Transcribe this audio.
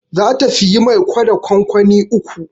Za ta siyi mai gwada kwankwani uku